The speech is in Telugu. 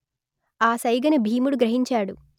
ఆ సైగను భీముడు గ్రహించాడు